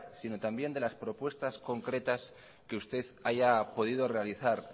sino también de las propuestas concretas que usted haya podido realizar